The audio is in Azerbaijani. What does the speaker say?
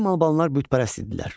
Qədim Albanlar bütpərəst idilər.